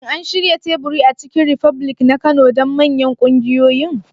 Shin an shirya teburi a Chicken republic na Kano don manyan ƙungiyoyin?